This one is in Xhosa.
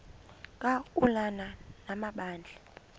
ka ulana amabandla